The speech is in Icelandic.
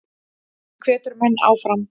Hann hvetur menn áfram.